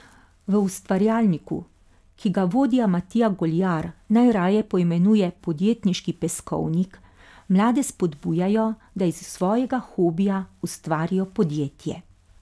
V Ustvarjalniku, ki ga vodja Matija Goljar najraje poimenuje podjetniški peskovnik, mlade spodbujajo, da iz svojega hobija ustvarijo podjetje.